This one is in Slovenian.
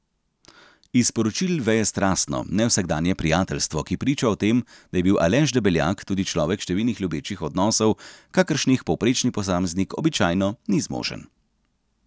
Iz sporočil veje strastno, nevsakdanje prijateljstvo, ki priča o tem, da je bil Aleš Debeljak tudi človek številnih ljubečih odnosov, kakršnih povprečni posameznik običajno ni zmožen.